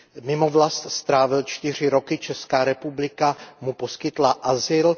Mimo vlast strávil čtyři roky, Česká republika mu poskytla azyl.